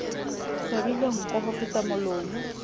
swabile nko ho feta molomo